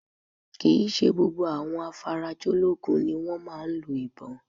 Kì í ṣe gbogbo àwọn afarajológun ni wọ́n máa ń lo ìbọn